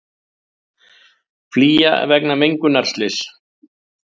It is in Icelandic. Flýja vegna mengunarslyss